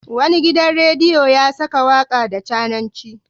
Wani gidan rediyo ya saka waka da cananci.